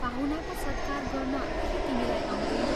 पाहुनाको सत्कार गर्न के तिमीलाई आउँदैन?